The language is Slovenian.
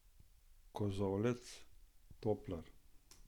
Kozolec, toplar!